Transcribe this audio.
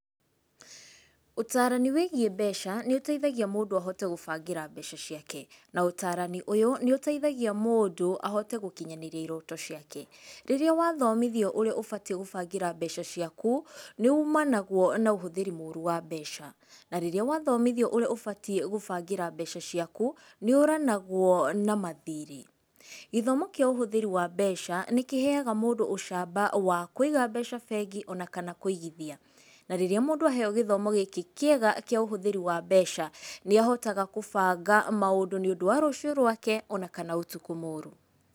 Ũtarani wĩgiĩ mbeca nĩũteithagia mũndũ ahote gũbangĩra mbeca ciake. Na ũtarani ũyũ, nĩũteithagia mũndũ ahote gũkinyanĩria iroto ciake. Rĩrĩa wathomithio ũrĩa ũbatiĩ gũbangĩra mbeca ciaku, nĩumanagwo na ũhũthĩri mũru wa mbeca. Na Rĩrĩa wathomithio ũrĩa ũbatiĩ gũbangĩra mbeca ciaku, nĩ ũranagwo na mathirĩ. Gĩthomo kĩa ũhũthĩri wa mbeca, nĩkĩheyaga mũndũ ũcamba wa kũiga mbeca bengi ona kana kũigithia. Na rĩrĩa mũndũ aheyo githomo gĩkĩ kĩega kĩa ũhũthĩri wa mbeca, nĩahotaga gũbanga maũndũ nĩũndũ wa rũciũ rwake, ona kana ũtukũ mũru.